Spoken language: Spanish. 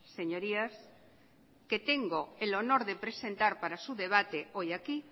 señorías que tengo el honor de presentar para su debate hoy aquí